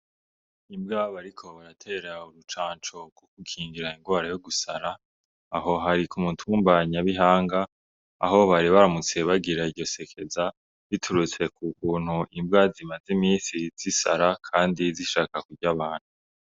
Imbwabo, ariko baratera urucancobwouko ukingira ingwara yo gusara aho hari ku umutumbanyabihanga aho bari baramutsebagira iryo sekeza biturutse ku kuntu imbwa zimaze imisi zisara, kandi zishaka kurya abantu.